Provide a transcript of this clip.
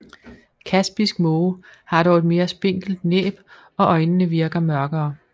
Kaspisk måge har dog et mere spinkelt næb og øjnene virker mørkere